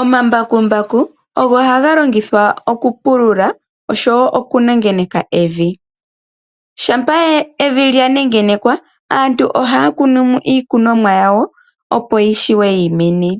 Omambakumbaku ogo haga longithwa okupulula osho woo okunuwa evi. Shampa evi lyanengenekwa aantu ohaya kunu mo iikunomwa yawo opo yishiwe yimene.